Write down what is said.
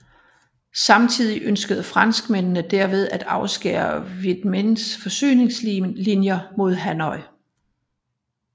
Samtidig ønskede franskmændene derved at afskære Vietminhs forsyningslinjer mod Hanoi